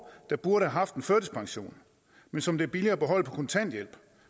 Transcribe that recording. der burde have haft en førtidspension men som det er billigere at beholde på kontanthjælp